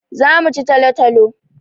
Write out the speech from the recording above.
Za mu ci talo-talo.